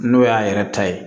N'o y'a yɛrɛ ta ye